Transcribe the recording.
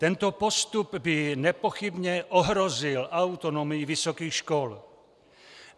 Tento postup by nepochybně ohrozil autonomii vysokých škol.